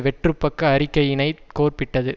வெற்றுப்பக்க அறிக்கையினை கோர்ப்பிட்டது